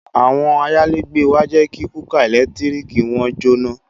Àwọn ayálégbé wa jẹ́ kí kúkà ẹ̀lẹ́tíríkì wọn jóná